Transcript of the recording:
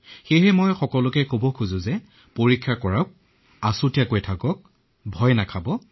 জনসাধাৰণক মই পৰীক্ষা কৰিবলৈ কবলৈ বিচাৰিছো আৰু কোৱাৰেণ্টাইনৰ অৰ্থ ভয় নকৰিব